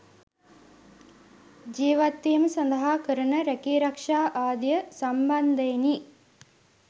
ජීවත්වීම සඳහා කරන රැකී රක්ෂා ආදිය සම්බන්ධයෙනි.